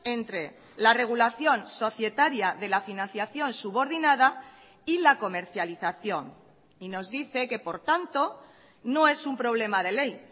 entre la regulación societaria de la financiación subordinada y la comercialización y nos dice que por tanto no es un problema de ley